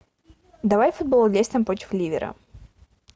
давай футбол лестер против ливера